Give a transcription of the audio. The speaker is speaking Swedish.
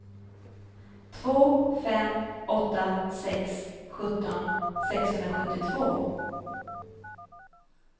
två fem åtta sex sjutton sexhundrasjuttiotvå